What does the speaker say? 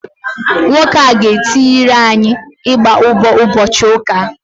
Nwoke a ga-etiri anyị ịgba ụbọ ụbọchị ụka a